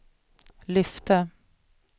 lyfte